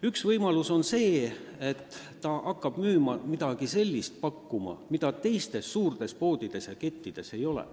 Üks võimalus on see, et väike pood hakkab müüma midagi sellist, mida suurtes poodides ja kettides ei ole.